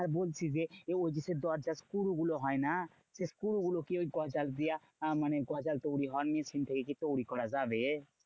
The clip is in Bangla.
আর বলছি যে, ওই যে সেই দরজার স্ক্রু গুলো হয় না? সেই স্ক্রুগুলো কি ওই গজাল দিয়ে মানে গজাল তৈরী হওয়ার machine থেকেই কি তৈরী করা যাবে?